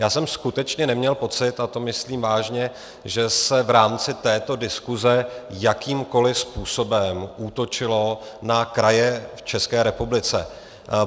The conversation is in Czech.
Já jsem skutečně neměl pocit, a to myslím vážně, že se v rámci této diskuse jakýmkoli způsobem útočilo na kraje v České republice.